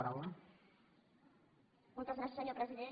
moltes gràcies senyor president